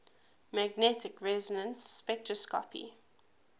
magnetic resonance spectroscopy